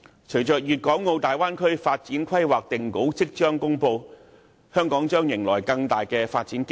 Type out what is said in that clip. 隨着《粵港澳大灣區城市群發展規劃》定稿即將公布，香港將迎來更大的發展機遇。